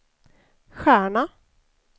stjärna